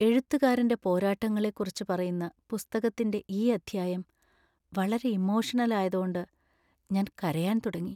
എഴുത്തുകാരന്‍റെ പോരാട്ടങ്ങളെക്കുറിച്ച് പറയുന്ന പുസ്തകത്തിന്‍റെ ഈ അധ്യായം വളരെ ഇമോഷണൽ ആയതോണ്ട് ഞാൻ കരയാൻ തുടങ്ങി.